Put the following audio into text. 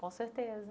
Com certeza.